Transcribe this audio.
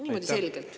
Niimoodi selgelt.